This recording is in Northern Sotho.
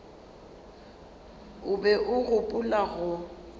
o be a gopola go